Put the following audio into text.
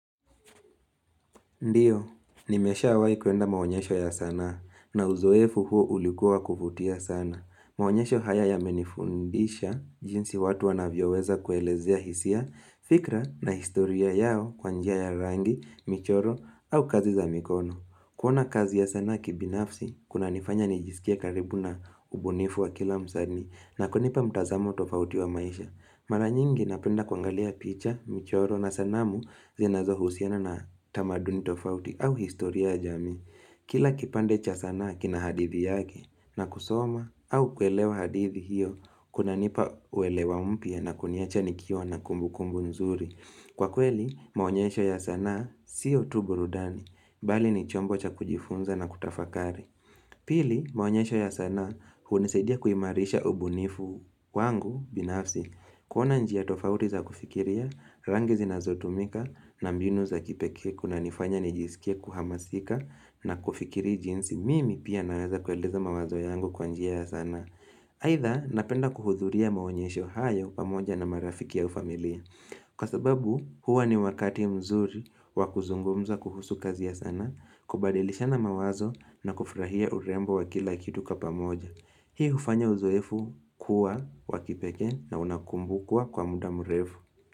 Ndiyo, nimeshawai kuenda maonyesho ya sanaa, na uzoefu huo ulikuwa wa kuvutia sana. Maonyesho haya yamenifundisha, jinsi watu wanavyoweza kuelezea hisia, fikra na historia yao kwa njia ya rangi, michoro, au kazi za mikono. Kuona kazi ya sanaa kibinafsi, kunanifanya nijisikie karibu na ubunifu wa kila msani, na kunipa mtazamo tofauti wa maisha. Mara nyingi napenda kuangalia picha, mchoro na sanamu zinazohusiana na tamaduni tofauti au historia ya jamii. Kila kipande cha sanaa kina hadithi yake na kusoma au kuelewa hadithi hiyo kunanipa uelewa mpya na kuniacha nikiwa na kumbukumbu nzuri. Kwa kweli, maonyesho ya sanaa siyo tu burudani, bali ni chombo cha kujifunza na kutafakari. Pili, maonyesho ya sanaa hunisaidia kuimarisha ubunifu wangu binafsi kuona njia tofauti za kufikiria, rangi zinazotumika, na mbinu za kipekee kunanifanya nijisikie kuhamasika na kufikiri jinsi mimi pia naweza kueleza mawazo yangu kwa njia ya sanaa. Haidha napenda kuhudhuria maonyesho hayo pamoja na marafiki au familia Kwa sababu huwa ni wakati mzuri wa kuzungumza kuhusu kazi ya sana kubadilishana mawazo na kufurahia urembo wa kila kitu kwa pamoja Hii ufanya uzoefu kuwa wa kipekee na unakumbukwa kwa muda mrefu.